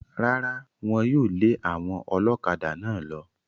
Rárá, Wọ́n yóò lé àwọn ọlọ́kadà náà lọ.